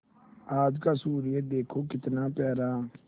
आज का सूर्य देखो कितना प्यारा